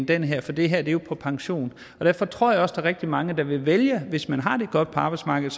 den her for det her er jo på pension derfor tror jeg også der er rigtig mange der vil vælge hvis man har det godt på arbejdsmarkedet